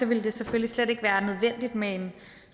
ville det selvfølgelig slet ikke være nødvendigt med en